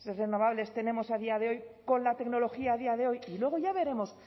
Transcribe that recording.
renovables tenemos a día de hoy con la tecnología a día de hoy y luego ya veremos